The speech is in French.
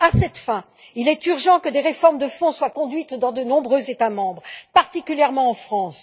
À cette fin, il est urgent que des réformes de fond soient conduites dans de nombreux États membres, particulièrement en France.